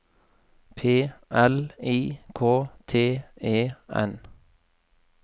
P L I K T E N